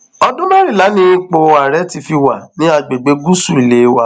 ọdún mẹrìnlá ni ipò ààrẹ ti fi wà ní àgbègbè gúúsù ilé wa